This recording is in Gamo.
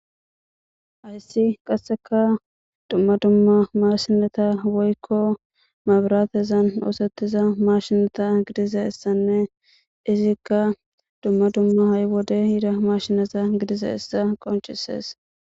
Ayssi qasseka dumma dumma mashinata woykko mabiraatezan oosettiza mashinata gidiza issanne izikka dumma dumma ha'y wode hiida mashinata gidiza issa qoncisees.